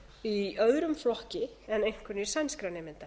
í öðrum flokki en einkunnir sænskra nemenda